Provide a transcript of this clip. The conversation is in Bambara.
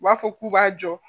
U b'a fɔ k'u b'a jɔ